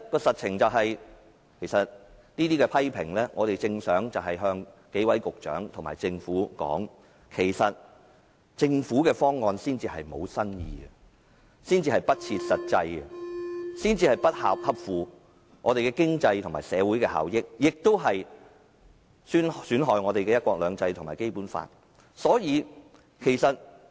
實情是，我們正想向幾位局長和政府說，政府的方案才是沒有新意、不切實際、不合乎經濟和社會效益，亦損害"一國兩制"和《基本法》。